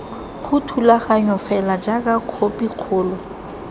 ga thulaganyo fela jaaka khopikgolo